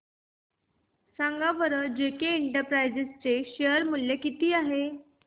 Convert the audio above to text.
सांगा बरं JK enterprises share मूल्य किती आहे